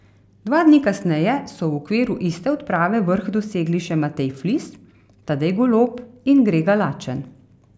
Dva dni kasneje so v okviru iste odprave vrh dosegli še Matej Flis, Tadej Golob in Grega Lačen.